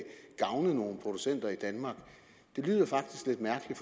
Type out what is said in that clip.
gavne nogle producenter i danmark lyder faktisk lidt mærkeligt